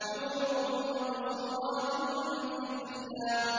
حُورٌ مَّقْصُورَاتٌ فِي الْخِيَامِ